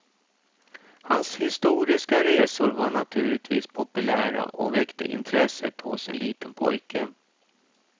Hans historiska resor var naturligtvis populära och väckte intresset hos en liten pojke.